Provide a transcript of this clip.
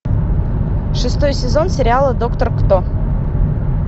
шестой сезон сериала доктор кто